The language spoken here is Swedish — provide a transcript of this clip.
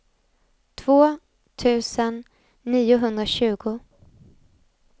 två tusen niohundratjugo